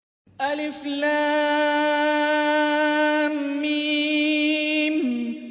الم